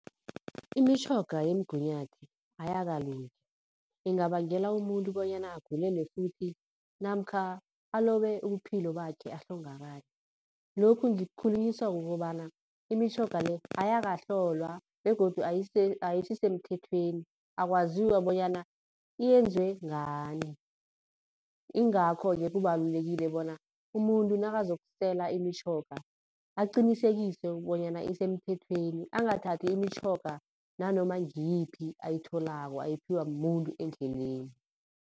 Imitjhoga yemgunyathi ayakalungi, ingabangela umuntu bonyana agulele futhi namkha alobe ubuphilo bakhe ahlongakale. Lokhu ngikukhulunyiswa kukobana imitjhoga le ayakahlolwa begodu ayisisemthethweni akwaziwa bonyana iyenzwe ngani. Ingakho-ke kubalulekile bona umuntu nakazokusela imitjhoga aqinisekise bonyana isemthethweni, angathathi imitjhoga nanoma ngiyiphi ayitholako ayiphiwa mumuntu endleleni.